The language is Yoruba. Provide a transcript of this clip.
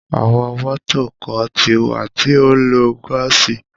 Àwọn mọ́tò kan ti wà tí ó ń lo gaasi